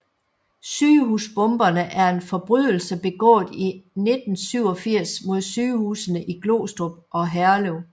Sygehusbomberne er en forbrydelse begået i 1987 mod sygehusene i Glostrup og Herlev